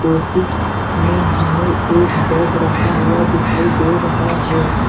उसीमें हमें एक बैग रखा हुआ दिखाई दे रहा है।